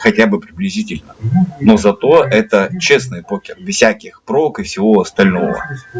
хотя бы приблизительно но зато это честный покер без всяких прог и всего остального